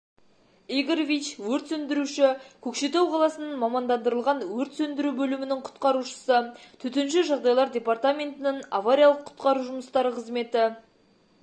игоревич - өрт сөндіруші - көкшетау қаласының мамандандырылған өрт сөндіру бөлімінің құтқарушысы төтенше жағдайлар департаментінің авариялық-құтқару жұмыстары қызметі